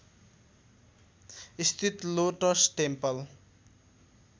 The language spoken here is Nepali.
स्थित लोटस टेम्पल